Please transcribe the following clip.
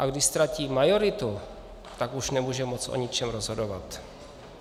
A když ztratí majoritu, tak už nemůže moc o ničem rozhodovat.